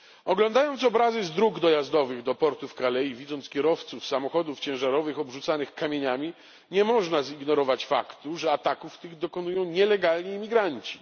Oglądając obrazy z dróg dojazdowych do portu w Calais i widząc kierowców samochodów ciężarowych obrzucanych kamieniami, nie można zignorować faktu, że ataków tych dokonują nielegalni imigranci.